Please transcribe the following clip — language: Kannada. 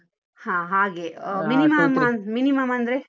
ಹಾ ಹಾಗೆ, minimum ಅಂದ್ರೆ.